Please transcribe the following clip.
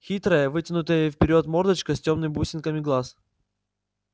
хитрая вытянутая вперёд мордочка с тёмными бусинками глаз